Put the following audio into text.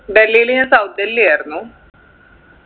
ഡൽഹീല് ഞാൻ south ഡൽഹി ആയിരുന്നു